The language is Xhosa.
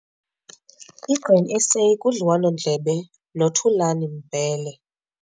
I-Grain SA kudliwano-ndlebe noThulan Mbele